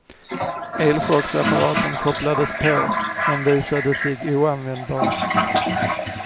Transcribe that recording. Elchocksapparaten kopplades på, men visade sig oanvändbar.